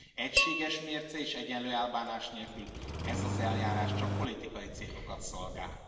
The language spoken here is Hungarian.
Egységes mérce és egyenlő elbánás nélkül ez az eljárás csak politikai célokat szolgál.